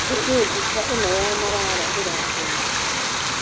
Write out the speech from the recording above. Nĩkĩ mbica ĩno ya Marara ĩrakũmithio?